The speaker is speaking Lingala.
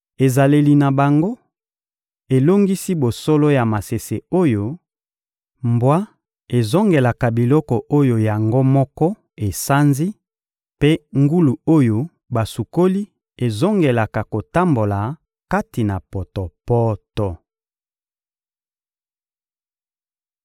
Ezaleli na bango elongisi bosolo ya masese oyo: «Mbwa ezongelaka biloko oyo yango moko esanzi» mpe «Ngulu oyo basukoli ezongelaka kotambola kati na potopoto.»